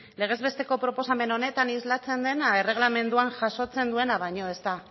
legez besteko proposamen honetan islatzen dena erregelamenduan jasotzen duena baino ez da